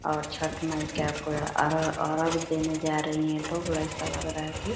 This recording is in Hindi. और छठ माई के पूरा अरग-अरग देने जा रही है लोग ऐसा लग रहा है कि --